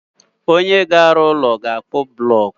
Onye ga alụ úlọ, ga-akpu bulocku